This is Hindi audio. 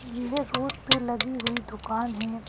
यह रोड पे लगी हुई दुकान है।